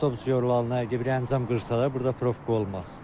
Avtobus yorlanına əgər bir əncam qırsalar, burda profka olmaz.